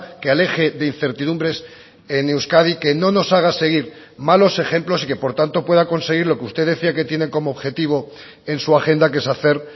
que aleje de incertidumbres en euskadi que no nos haga seguir malos ejemplos y que por tanto pueda conseguir lo que usted decía que tienen como objetivo en su agenda que es hacer